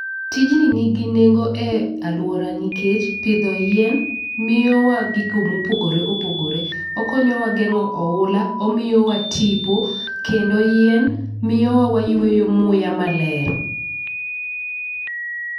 Tijni nigi nengo e aluora nikech pidho yien miyo wa gigo mopogore opogore. Okonyowa geng'o oula, omiyowa tipo kendo yien miyowa wayweyo muya maler.